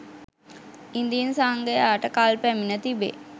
ඉදින් සංඝයාට කල් පැමිණ තිබේ